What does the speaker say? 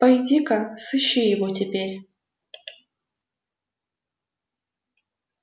пойди ка сыщи его теперь